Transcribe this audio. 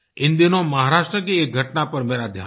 इन दिनों महाराष्ट्र की एक घटना पर मेरा ध्यान गया